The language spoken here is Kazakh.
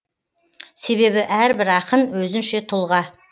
себебі әрбір ақын өзінше тұлға